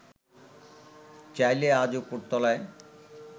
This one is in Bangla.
চাইলে আজ ওপরতলায়